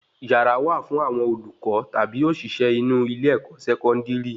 Yàrá wà fún àwọn olùkọ tabi oṣiṣẹ inú ilé-ẹ̀kọ́ Sẹkọndiri